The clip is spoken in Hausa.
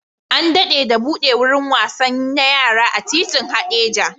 An dade da buɗe wurin wasan na yara a titin Hadeja